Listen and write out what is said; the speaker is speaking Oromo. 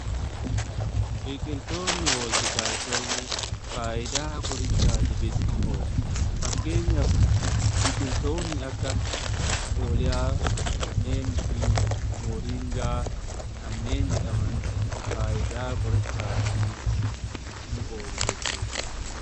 Biqiltootni hooltikaalcheerii faayidaa qorichaatifis ni oolu. Fakkeenyaaf biqiltoonni akka oolyaa neemifii mooringaa kanneen jedhaman faayidaa qorichaa fi ni oolu jechuudha.